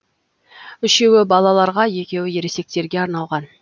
үшеуі балаларға екеуі ересектерге арналған